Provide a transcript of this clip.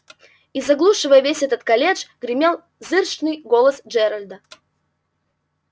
и заглушивая весь этот галдёж гремел зычный голос джералда